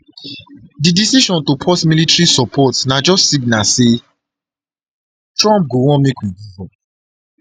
di decision to pause military support military support na just signal say trump go want make we give up